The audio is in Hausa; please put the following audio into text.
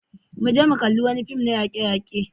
Mu je mu kalli wani fim na yake-yake.